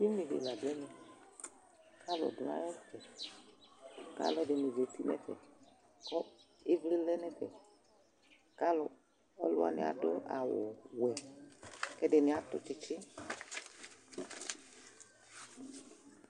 ʊlʊ ɖi la ɖʊ ɛʋɛ, ƙalʊ aƴɛtʊ ƙalu ɛɖɩŋɩ zatɩ ŋɛƒɛ ƙɩʋlɩ lɛ ŋɛƒɛ, ƙalʊ wani aɖʊ awʊ wɛ , ƙɛɖɩnɩ atʊ tsɩtsɩ